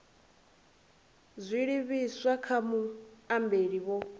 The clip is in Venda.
dzi livhiswa kha muambeli vho